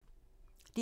DR2